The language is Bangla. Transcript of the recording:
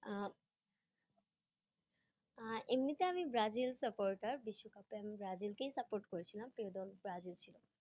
আহ আহ এমনিতে আমি ব্রাজিল supporter বিশ্বকাপে আমি ব্রাজিলকেই support করেছিলাম কিন্তু আমি ব্রাজিল ছিলাম